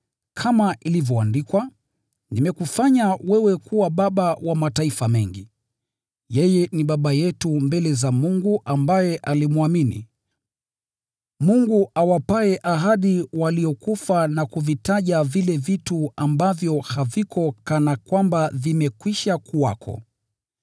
Kama ilivyoandikwa: “Nimekufanya wewe kuwa baba wa mataifa mengi.” Yeye ni baba yetu mbele za Mungu, ambaye yeye alimwamini, yule Mungu anaye fufua waliokufa, na kuvitaja vile vitu ambavyo haviko kana kwamba vimekwisha kuwako.